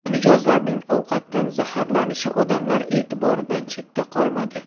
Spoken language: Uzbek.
Mijozlarning ovqatdan zaharlanishi odamlar e’tiboridan chetda qolmadi.